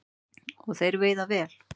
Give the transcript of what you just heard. Og þeir veiða vel